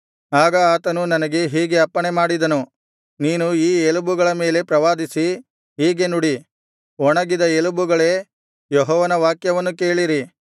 ಆಗ ಆತನು ನನಗೆ ಹೀಗೆ ಅಪ್ಪಣೆಮಾಡಿದನು ನೀನು ಈ ಎಲುಬುಗಳ ಮೇಲೆ ಪ್ರವಾದಿಸಿ ಹೀಗೆ ನುಡಿ ಒಣಗಿದ ಎಲುಬುಗಳೇ ಯೆಹೋವನ ವಾಕ್ಯವನ್ನು ಕೇಳಿರಿ